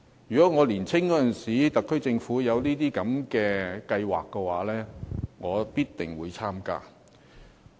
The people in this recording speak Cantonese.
如果在我年青的時候，政府有這些計劃的話，我必定會參加。